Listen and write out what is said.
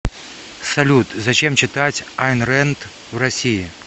салют зачем читать айн рэнд в россии